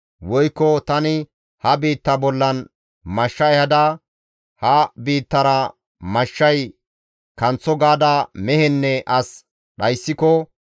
«Woykko tani ha biitta bollan mashsha ehada, ‹Ha biittara mashshay kanththo› gaada mehenne as dhayssiko,